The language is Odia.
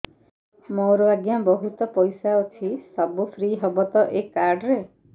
ମୋର ଆଜ୍ଞା ବହୁତ ପଇସା ଅଛି ସବୁ ଫ୍ରି ହବ ତ ଏ କାର୍ଡ ରେ